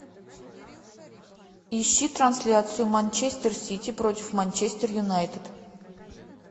ищи трансляцию манчестер сити против манчестер юнайтед